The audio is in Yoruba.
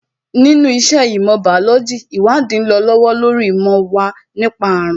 Nínú iṣẹ́ ìmọ̀ bàólójī, ìwádìí ń lọ lọ́wọ́ lórí ìmọ̀ wa nípa àrùn